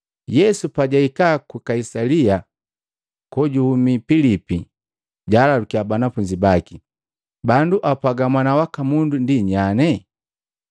Yesu pajwahika ku Kaisalia kojuhumi Pilipi, jwaalalukia banafunzi baki, “Bandu apwaga Mwana waka Mundu ndi nyanye?”